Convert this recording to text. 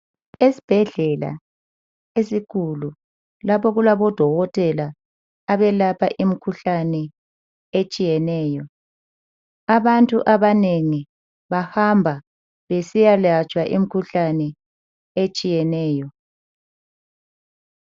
Esibhedlela esikhulu lapho okulabodokotela abelapha imikhuhlane etshiyeneyo. Abantu abanengi bahamba besiyalatshwa imikhuhlane etshiyeneyo.